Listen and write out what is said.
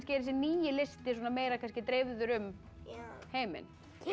er þessi nýi listi meira dreifður um heiminn